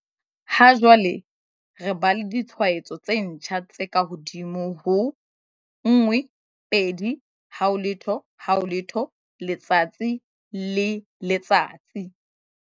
Ha jwale re ba le ditshwaetso tse ntjha tse kahodimo ho 12 000 letsatsi le letsatsi.